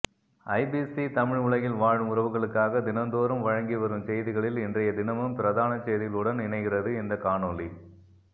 IBC Tamil உலகில் வாழும் உறவுகளுக்காக தினந்தோறும் வழங்கிவரும் செய்திகளில் இன்றையதினமும் பிரதான செய்திகளுடன் இணைகிறது இந்த காணொலி